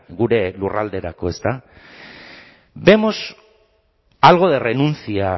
gure lurralderako ezta vemos algo de renuncia